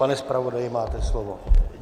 Pane zpravodaji, máte slovo.